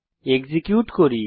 execute করি